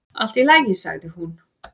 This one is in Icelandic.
"""Allt í lagi, sagði hún."""